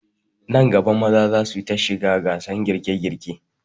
Nan gaba maza za su ta shigar gasan girke girke